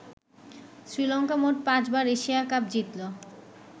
শ্রীলংকা মোট পাঁচ বার এশিয়া কাপ জিতলো।